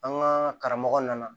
An ka karamɔgɔ nana